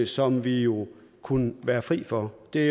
som vi jo kunne være fri for det er